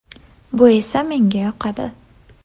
Bu esa menga yoqadi.